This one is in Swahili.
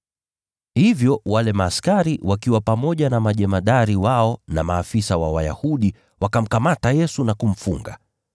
Hivyo wale askari, wakiwa pamoja na majemadari wao na maafisa wa Wayahudi, wakamkamata Yesu na kumfunga.